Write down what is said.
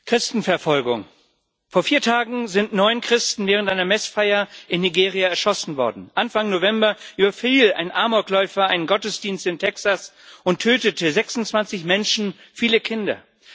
Herr Präsident! Christenverfolgung Vor vier Tagen sind neun Christen während einer Messfeier in Nigeria erschossen worden. Anfang November überfiel ein Amokläufer einen Gottesdienst in Texas und tötete 26 Menschen, viele Kinder.